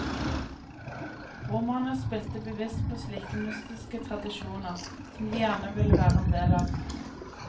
Romerne spilte bevisst på slike mytiske tradisjoner, som de gjerne ville være en del av.